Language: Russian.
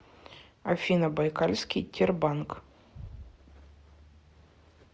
афина байкальский тербанк